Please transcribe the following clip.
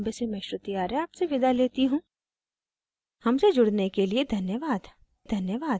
I I T Bombay से मैं श्रुति आर्य आपसे विदा लेती you धन्यवाद